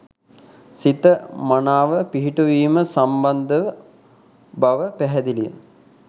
සිත මනාව පිහිටුවීම සම්බන්ධව බව පැහැදිලිය